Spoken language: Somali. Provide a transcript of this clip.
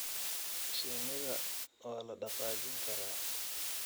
Shinnida waa la dhaqaajin karaa.